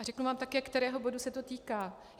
A řeknu vám také, kterého bodu se to týká.